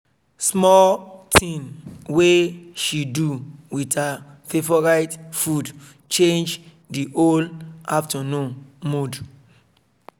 small thing wey she do with her favorite food change di whole afternoon mood